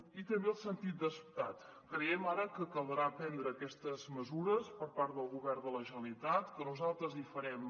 i també el sentit d’estat creiem ara que caldrà prendre aquestes mesures per part del govern de la generalitat que nosaltres hi farem